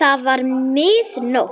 Það var mið nótt.